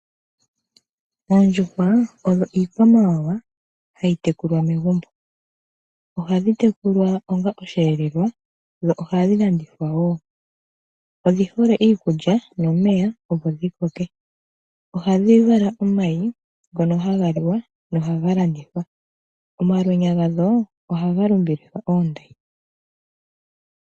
Oondjuhwa odho iikwamawawa hayi tekulwa megumbo. Ohadhi tekulwa onga oshiyelelwa, dho oha dhi landithwa wo. Odhi hole iikulya nomeya opo dhi koke. Ohadhi vala omayi, ngono haga liwa, noha ga landithwa. Omalweenya gadho, oha ga longithwa oondayi.